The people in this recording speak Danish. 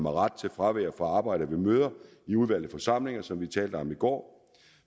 ret til fravær fra arbejde ved møder i udvalgte forsamlinger som vi talte om i går